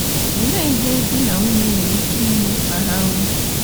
Olee ihe di na nwunye nwere ike ime ma ha nwee